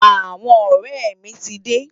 Awòn òrè mi ti dé